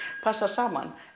passar saman